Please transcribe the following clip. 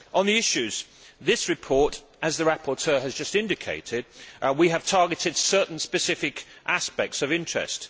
In this report as the rapporteur has just indicated we have targeted certain specific aspects of interest.